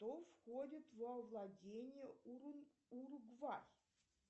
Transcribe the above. кто входит во владения уругвай